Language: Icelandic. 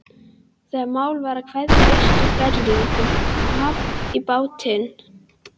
Þegar mál var að kveðja Austur-Berlín kom babb í bátinn.